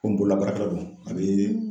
bololabaarakɛla don a bee